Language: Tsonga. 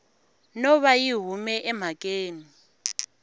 no va yi hume emhakeni